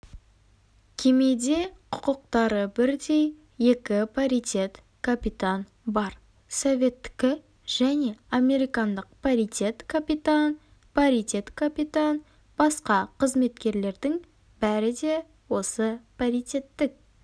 кемеде құқықтары бірдей екі паритет капитан бар советтікі және американдық паритет-капитан паритет-капитан басқа қызметкерлердің бәрі де осы паритеттік